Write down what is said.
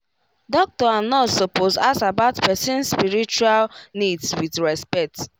doctor and nurse suppose ask about person's spiritual needs with respect